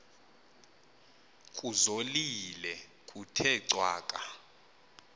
kuzolile kuthe cwaka